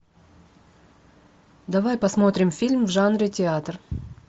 давай посмотрим фильм в жанре театр